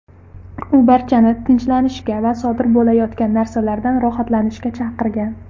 U barchani tinchlanishga va sodir bo‘layotgan narsalardan rohatlanishga chaqirgan.